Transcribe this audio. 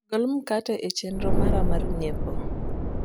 gol mkate e chendro mara mar nyiepo